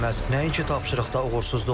Nəinki tapşırıqda uğursuzluq.